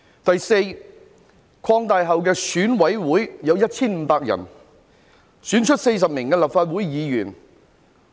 第四，擴大後的選舉委員會有 1,500 名委員，將會選出40位立法會議員。